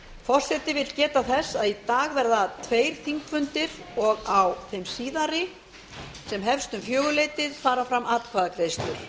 forseti vill geta þess að í dag verða tveir þingfundir á þeim síðari sem hefst um fjögurleytið fara fram atkvæðagreiðslur